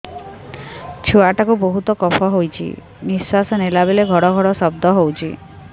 ଛୁଆ ଟା କୁ ବହୁତ କଫ ହୋଇଛି ନିଶ୍ୱାସ ନେଲା ବେଳେ ଘଡ ଘଡ ଶବ୍ଦ ହଉଛି